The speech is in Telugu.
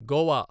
గోవా